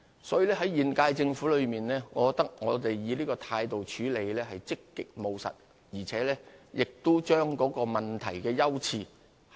所以，我覺得現屆政府以這種態度處理此事，是積極務實，亦合適地把握問題的優次。